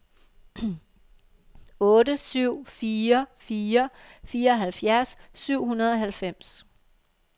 otte syv fire fire fireoghalvfjerds syv hundrede og halvfems